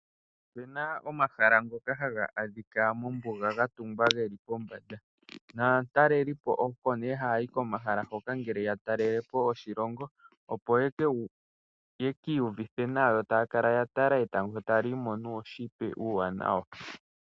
Opena omahala ngoka haga adhika geli mombuga ga tungwa geli pombanada. Naatalelipo oko nee haya yi komahala ngoka ngele ya talelepo oshilongo. Opo ya ki iyuvithe nawa yo taya kala ya tala etango taliimo nuushitwe uuwanawa.